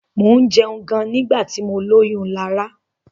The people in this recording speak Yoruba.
Mo jẹun gan nígbà tí mọ lóyún Lará.